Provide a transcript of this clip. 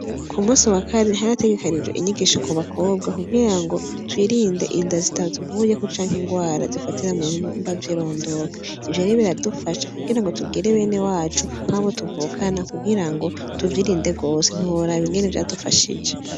Ku musi wa kane hari hategekanijwe inyigisho ku bakobwa kugirango twirinde inda zitatuvuyeko canke indwara zifatira mu bihimba vy'irondoka, ivyo rero biradufasha kugira ngo tubwire benewacu nkabo tuvukana kugira ngo tuvyirinde gose ntiworaba ingene vyadufashije.